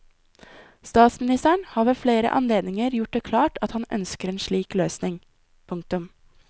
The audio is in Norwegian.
Statsministeren har ved flere anledninger gjort det klart at han ønsker en slik løsning. punktum